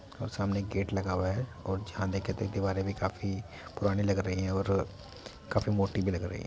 और सामने गेट लगा हुआ है और जहाँ देखे तो दीवारे भी काफी पुरानी लग रही है और काफी मोटी भी लग रही है।